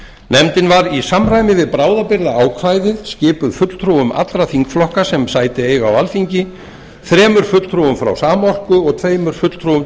nefndin var í samræmi við bráðabirgðaákvæðið skipuð fulltrúum allra þingflokka sem sæti eiga á alþingi þremur fulltrúum frá samorku og tveimur fulltrúum